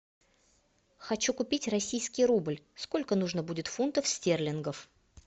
хочу купить российский рубль сколько нужно будет фунтов стерлингов